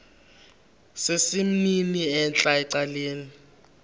sesimnini entla ecaleni